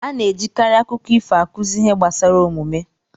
A na-ejikarị akụkọ ifo akụzi ihe gbasara omume.